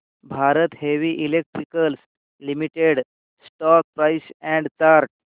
Bharat heavy electricals limited stock price and chart